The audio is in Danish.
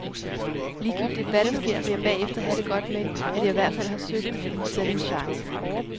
Ligegyldigt hvad der sker, vil jeg bagefter have det godt med, at jeg i hvert fald har søgt at tage min chance.